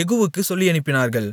யெகூவுக்குச் சொல்லியனுப்பினார்கள்